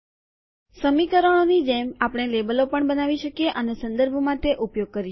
સમીકરણો ની જેમ આપણે લેબલો પણ બનાવી શકીએ અને સંદર્ભ માટે ઉપયોગ કરી શકીએ